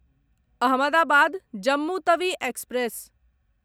Ahmedabad Jammu Tawi express